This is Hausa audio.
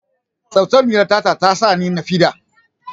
Tatsuniyar tata ta sa ni nishaɗi